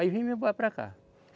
Aí vim me embora para cá.